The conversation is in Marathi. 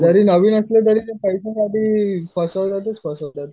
जरी नवीण असलं तरी ते पैशासाठी फसवतातच फसवतात.